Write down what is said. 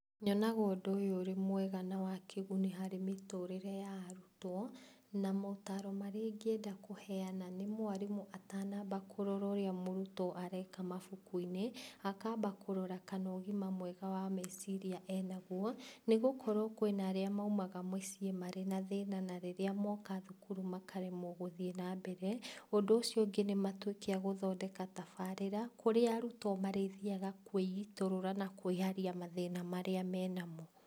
Nyonaga ũndũ ũyũ ũrĩ mwega na wa kĩguni harĩ mĩtũrĩre ya arutwo, na motaro marĩa ingĩenda kũheana nĩmwarimũ atanamba kũrora ũrĩa mũrutwo areka mabukuinĩ, akamba kũrora kana ũgima mwega wa meciria ena guo, nĩgũkorwo kwĩna arĩa maumaga mũciĩ marĩ na thĩna, na rĩrĩa moka thukuru makaremwo gũthiĩ nambere, ũndũ ũcio ũngĩ nĩmatuĩke a gũthondeka tabarĩra, kũrĩa arutwo marĩthiaga kwĩitũrũra na kwĩyaria mathĩna marĩa menamo.